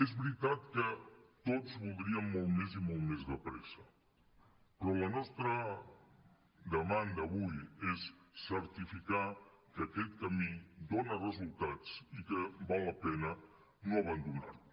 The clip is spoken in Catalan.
és veritat que tots voldríem molt més i molt més de pressa però la nostra demanda avui és certificar que aquest camí dona resultats i que val la pena no abandonar lo